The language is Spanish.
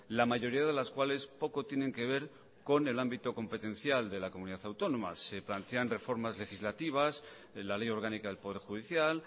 la mayoría de las cuales poco tienen que ver con el ámbito competencial de la comunidad autónoma se plantean reformas legislativas la ley orgánica del poder judicial